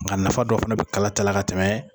Nka nafa dɔ fɛnɛ bɛ kala tala ka tɛmɛ.